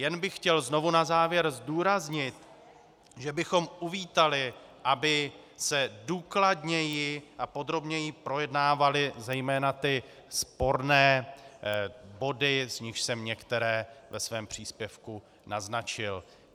Jen bych chtěl znovu na závěr zdůraznit, že bychom uvítali, aby se důkladněji a podrobněji projednávaly zejména ty sporné body, z nichž jsem některé ve svém příspěvku naznačil.